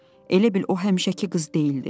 Elə bil o həmişəki qız deyildi.